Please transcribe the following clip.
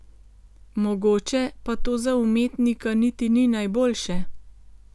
Mogoče pa to za umetnika niti ni najboljše.